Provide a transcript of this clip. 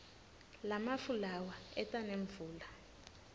lamafu lawa eta nemvula